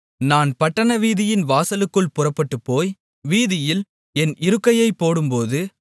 நான் பட்டணவீதியின் வாசலுக்குள் புறப்பட்டுப்போய் வீதியில் என் இருக்கையைப் போடும்போது